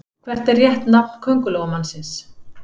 Hvert er rétt nafn Köngulóarmannsins?